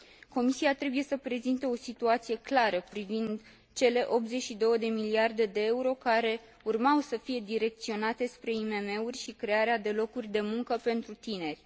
Comisia trebuie să prezinte o situație clară privind cele 82 de miliarde de euro care urmau să fie direcționate spre IMM uri și crearea de locuri de muncă pentru tineri.